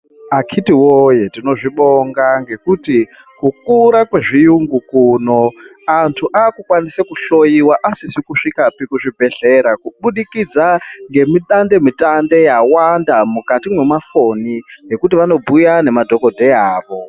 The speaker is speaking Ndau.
Akhiti woye tinozvibonga ngekuti kukura kwezviyungu kuno, anthu akukwanisa kuhloiwa asizi kusvikapi kuzvibhehlera kubudikidza ngemi dande mutande yawanda mukati mwemafoni ekuti vanobhuya nemadhokodheya avo.